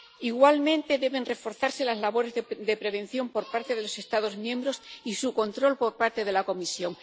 Igualmente deben reforzarse las labores de prevención por parte de los Estados miembros y su control por parte de la Comisión.